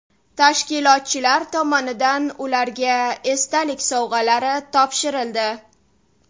Tashkilotchilar tomonidan ularga esdalik sovg‘alari topshirildi.